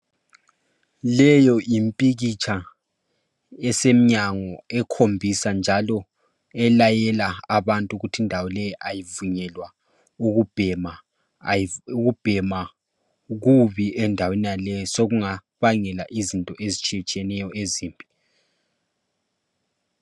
Leyo yimpikitsha esemnyango ekhombisa njalo elayela abantu ukuthi indawo leyi ayivunyelwa ukubhema , ukubhema kubi endaweni yonaleyo sokungabangela izinto ezitshiyeneyo.